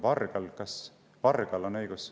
Vargal, kas vargal on õigus …